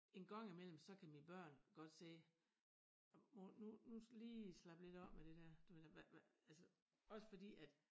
En gang i mellem så kan mine børn godt sige ej mor nu nu lige slap lidt af med det dér du ved hvad hvad også fordi at